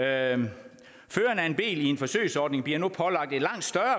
af en bil i en forsøgsordning bliver nu pålagt en langt større